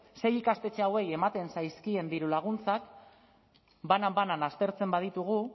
sei ikastetxe hauei ematen zaizkien dirulaguntzak banan banan aztertzen baditugu